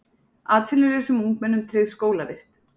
Atvinnulausum ungmennum tryggð skólavist